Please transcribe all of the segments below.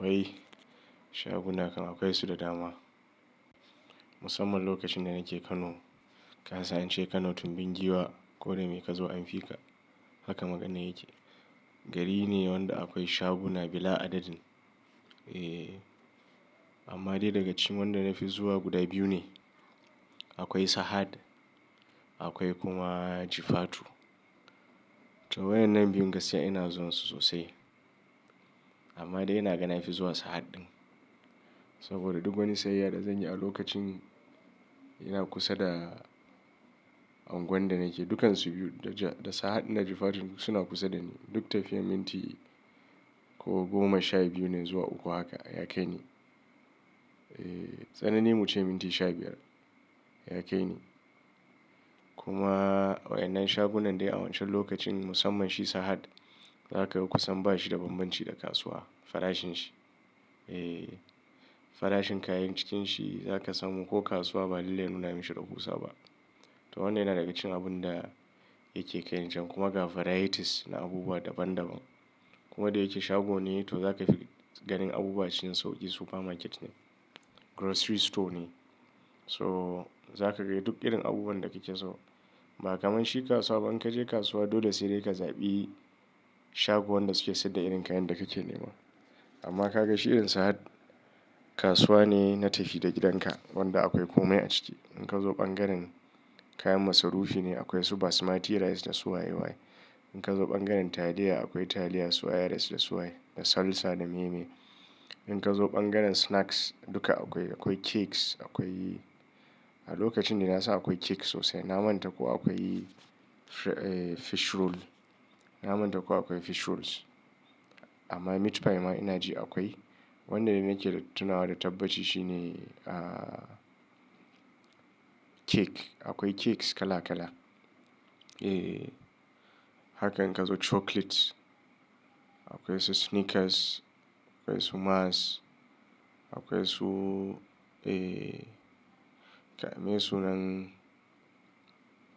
Wai shaguna kan akwai su da dama. Musamman lokacin da nake Kano, kasan ance Kano tun bin giwa, koda mai ka zo an fi ka. Haka maganar yake. Gari ne wanda akwai shagu na bila adadin. Eh, amma dai daga cikin wanda na fi zuwa guda biyu ne. Akwai Sahad, akwai kuma Jifatu. To waɗannan biyu gaskiya ina zuwa su sosai. Amma dai ina ga nafi zuwa Sahad ɗin. Saboda duk wani sayayya da zan yi a lokacin yana kusa da unguwan da nake, dukan su biyu da Sahad da Jifatu suna kusa da ni. Duk tafiyar minti ko goma sha biyu ne zuwa uku haka, ya kai ne. Eh, tsanani muce minti sha biyar, ya kai ni. Kuma waɗannan shagunan dai a wancan lokacin musamman shi Sahad, za ka ga kusan ba shi da bambanci da kasuwa, farashin shi. Eh, farashin kayan cikin shi za ka samu ko kasuwa ba lallai nuna mishi rahusa ba. To wannan yana daga cikin abun da yake ƙai nan can kuma ga varieties na abubuwa daban daban. Kuma da yake shago ne to za ka fi ganin abubuwa cikin sauƙi supermarket ne, grocery store ne. So za ka ga duk irin abubuwan da kake so. Ba kamar shi kasuwa ba in ka je kasuwa dole sai dai ka zaɓi shago wanda suke saida irin kayan da kake nema. Amma ka ga shi irin Sahad, kasuwa ne na tafi da gidanka wanda akwai komai a ciki. In ka zo ɓangaren kayan masarufi ne akwai su basmati rice da su waye waye. In ka zo ɓangaren taliya akwai taliya su iris da su waye da salsa da meyemeye. In ka zo ɓangaren snacks duka akwai, akwai cakes akwai A lokacin dai nasan akwai cakes sosai na manta ko akwai fish roll. Na manta ko akwai fish rolls. Amma meat pie ma ina ji akwai. Wanda nake tunawa da tabbaci shi ne cake. Akwai cakes kala kala. Eh, haka in ka zo chocolate akwai su Snickers, akwai su Mars, akwai su, eh, kai me sunan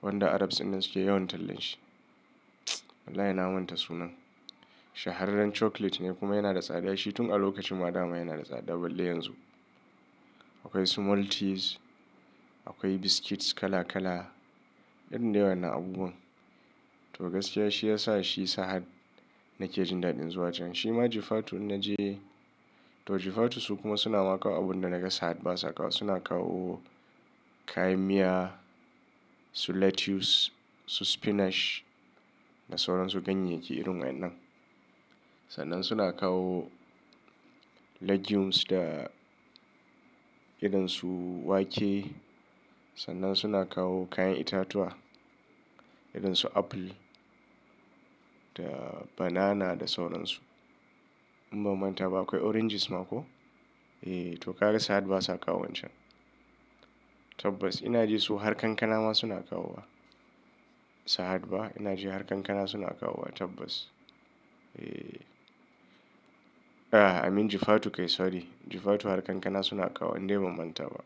wanda Arabs din nan suke yawan tallan shi. Wallahi na manta sunan. Shahararran chocolate ne kuma yana da tsada shi tun a lokacin ma dama yana da tsada balle yanzu. Akwai su Maltesers, akwai biscuits kala kala, irin duka wannan abubuwan. To gaskiya shi yasa shi Sahad nake jin daɗin zuwa can. Shi ma Jifatu in naje, to Jifatu su kuma suna maƙa abun da naga Sahad ba su kawo. Suna kawo kayan miya, su lettuce, su spinach da sauran su ganyayyaki irin waɗannan. Sannan suna kawo legumes da irin su wake. Sannan suna kawo kayan itatuwa irin su apple da banana da sauran su. In ban manta ba akwai oranges ma ko? Eh to ka ga Sahad ba su kawo wancan. Tabbas ina ji su har kankana ma suna kawo wa. Sahad ba ina ji har kankana suna kawo wa tabbas. A'a, I mean Jifatu kai sorry. Jifatu har kankana suna kawo wa in dai ban manta ba.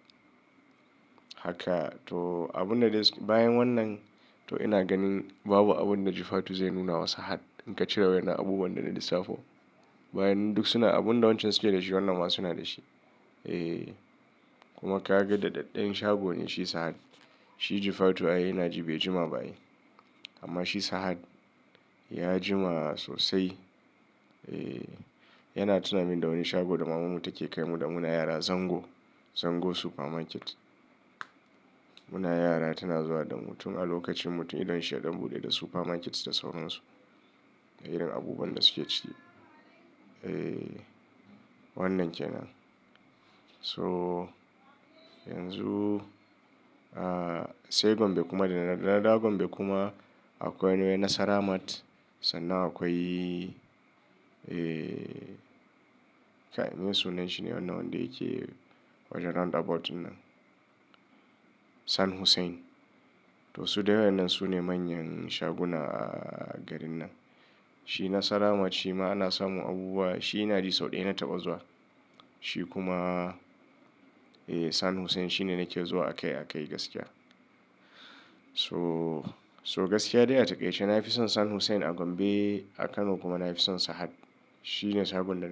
Haka to abun da dai bayan wannan to ina ganin babu abun da Jifatu zai nuna wa Sahad in ka cire wa yana abubuwan da na lissafo. Bayan duk suna abun da wancan suke da shi wannan ma suna da shi. Eh kuma ka ga daɗaɗɗen shago ne shi Sahad. Shi Jifatu ai ina ji bai jima bayi. Amma shi Sahad ya jima sosai. Eh yana tuna mini da wani shago da mamanmu take kai mu da muna yara Zango, Zango supermarket. Muna yara tana zuwa da mu tun a lokacin mutum idon shi ya ɗan buɗe da supermarket da sauran su da irin abubuwan da suke ciki. Eh wannan kenan. So yanzu, ah, sai Gombe kuma da na dawo Gombe kuma akwai Nasaramat. Sannan akwai, eh, kai me sunan shi ne wannan wanda yake wajen roundabout nan? San Hussein. To su dai wadannan su ne manyan shaguna a garin nan. Shi Nasaramat shi ma ana samu abubuwa shi ina ji sau ɗaya na taɓa zuwa. Shi kuma, eh San Hussein shi ne nake zuwa akai akai gaskiya. So, so gaskiya dai a ta ƙaice na fi son San Hussein a Gombe a Kano kuma na fi son Sahad. Shi ne shagunan.